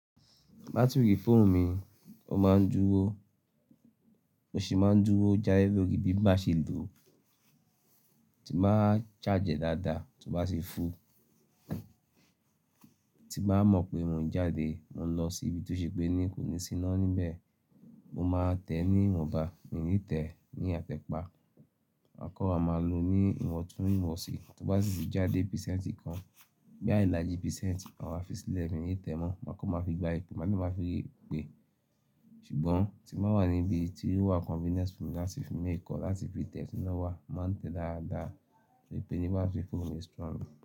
Batiri fóònù mi o máa ń dúró, mo sì máa ń dúró jáde lórí bí màá ṣe lò ó, tí m'ba charge é dáadáa tó bá sì fúul. Tí mbà mọ̀ pé mò ń jáde, mò ń lọ sí ibi tí ó ṣe pé ní kò ní síná níbẹ̀, mo máa tẹ̀ ní ìwọ̀nba, mi ní tẹ̀ ní àtẹ̀pa, mà kan wa máa lò ó ní ìwọ̀ntún- ìwọ̀nsì. Tó bá sì ti já de písẹ̀ǹtì kan boya iláji písẹ̀ǹtì, màwa fi sílẹ̀ mi ní tẹ̀ ẹ́ mọ́, màá kan máa fi gba ipè, màá kan máa fi pé. Ṣùgbọ́n tí màá wà níbi tí ó wà convenient fún mi láti fi mú èkọ, láti fi tẹ̀ ẹ́ sínú wà, màá tẹ̀ é dáadáa pé nígbà tí fóònù mi strong.